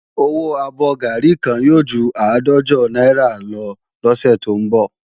Owó abọ́ gàárì kan yóò ju àádọ́jọ náírà lọ lọ́sẹ̀ tó ń bọ̀